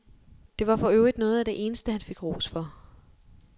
Det var for øvrigt noget af det eneste han fik ros for.